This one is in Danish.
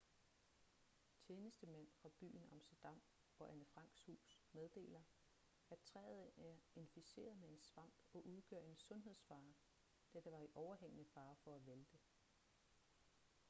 tjenestemænd fra byen amsterdam og anne franks hus meddeler at træet er inficeret med en svamp og udgør en sundhedsfare da det var i overhængende fare for at vælte